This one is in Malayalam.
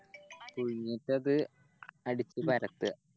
എന്നിട്ടത് അടിച്ച് പരത്ത